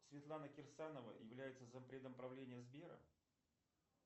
светлана кирсанова является зампредом правления сбера